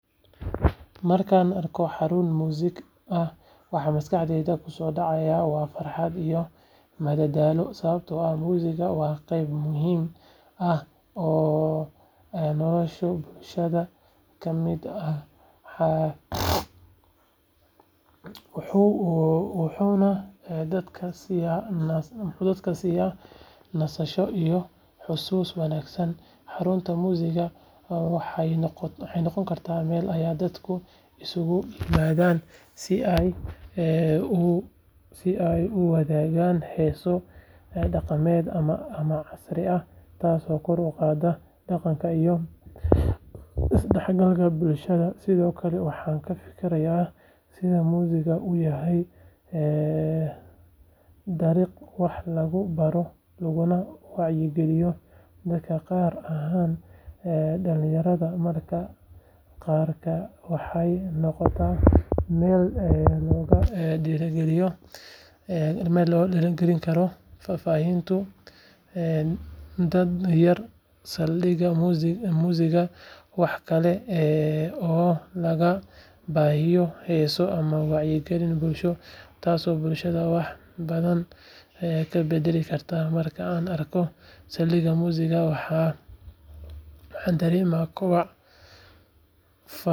Waxaan jeclahay Uber sababtoo ah waxay bixisaa adeeg gaadiid oo degdeg ah oo raaxo leh markasta oo aan u baahdo safar Uber waa mid si fudud loo heli karo aniga oo adeegsanaya taleefankayga kaliya waxay iga badbaadisaa waqti iyo dadaal badan marka aan raadinayo gaari gaar ah sidoo kale Uber waxay leedahay nidaam ammaan ah oo dadka isticmaala iyo darawalada labadaba ka ilaaliya khataro waxay ii oggolaanaysaa inaan arko faahfaahinta darawalka iyo gaariga taas oo iga dhigaysa inaan dareemo kalsooni dheeraad ah intaas waxaa dheer qiimaha safarka Uber waa mid macquul ah marka loo eego adeegyada kale waxaana mar walba heli karaa gaari xitaa meelaha mashquulka ah Uber waxay fududeysaa in aan ku safro meelaha fogfog anigoon waayin lacag badan ama waqti dheer waxay sidoo kale tahay adeeg casri ah oo ku habboon dadka isticmaalaya teknoolojiyada.